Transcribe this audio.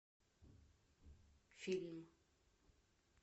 фильм